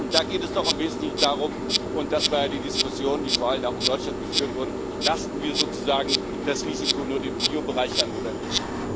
Da geht es doch im Wesentlichen darum und das war die Diskussion, die vor allem auch in Deutschland geführt wurde Lasten wir sozusagen das Risiko nur dem Biobereich an oder nicht?